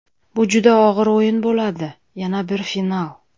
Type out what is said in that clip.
Bu juda og‘ir o‘yin bo‘ladi, yana bir final.